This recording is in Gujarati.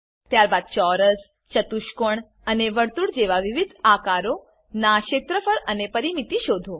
ત્યારબાદ ચોરસ ચતુષ્કોણ અને વર્તુળ જેવા વિવિધ આકારોનાં ક્ષેત્રફળ અને પરીમીતી શોધો